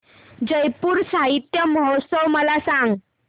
जयपुर साहित्य महोत्सव मला सांग